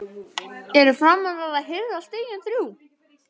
ERU FRAMARAR AÐ HIRÐA STIGIN ÞRJÚ??